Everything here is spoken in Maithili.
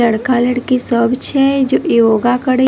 लड़का-लड़की सब छै जो योगा करे --